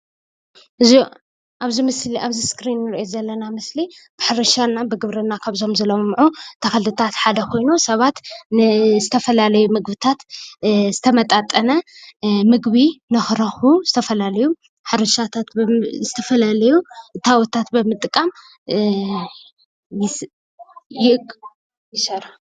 አብዚ እስክሪን እንሪኦ ዘለና ምስሊ ብሕርሻ ብግብርና ካብዞም ዝለምዑ ተኽልታት ሓደ ኮይኑ ሰባት ንዝተፈላለዩ ምግብታት ዝተመጣጠነ ምግቢ ንክረኽብቡ ዝተፈላለዩ እታወታት ብምጥቃም ይሰርሑ።